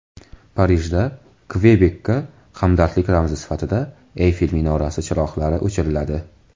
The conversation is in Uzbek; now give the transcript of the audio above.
Parijda Kvebekka hamdardlik ramzi sifatida Eyfel minorasi chiroqlari o‘chiriladi.